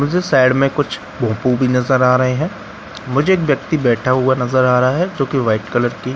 मुझे साइड में कुछ भोंपू भी नजर आ रहे हैं मुझे एक व्यक्ति बैठा हुआ नजर आ रहा है जोकि व्हाइट कलर की--